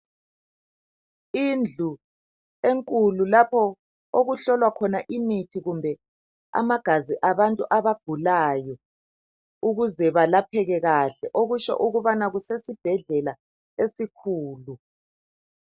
Indlu enkulu lapho okuhlolwa khona imithi kumbe amagazi abantu abagulayo ukuze balapheke kahle. Lezindlu zitholakala ezibhedlela ezinkulu.